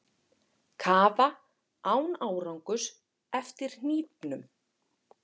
Kafa án árangurs eftir hnífnum